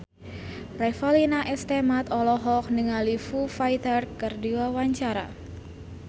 Revalina S. Temat olohok ningali Foo Fighter keur diwawancara